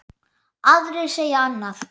Aðrir segja annað.